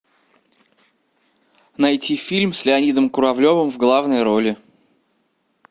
найти фильм с леонидом куравлевым в главной роли